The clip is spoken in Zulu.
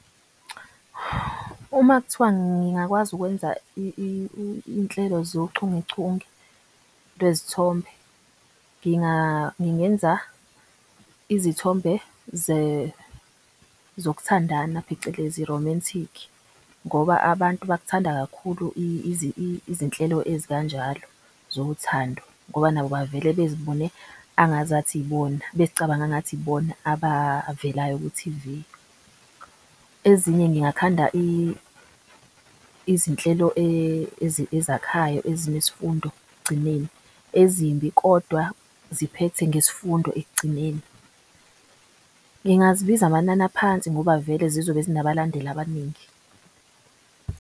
Uma kuthiwa ngingakwazi ukwenza inhlelo zochungechunge lwezithombe. Ngingenza izithombe zokuthandana phecelezi romantic ngoba abantu bakuthanda kakhulu izinhlelo ezikanjalo zothando. Ngoba nabo bavele bezibone angazathi ibona bezicabange engathi ibona abavelayo ku-T_V. Ezinye ngingakhanda izinhlelo ezakhayo, ezinesifundo ekugcineni ezimbi, kodwa ziphethe ngesfundo ekugcineni. Ngingazibiza amanani aphansi ngoba vele zizobe zinabalandeli abaningi.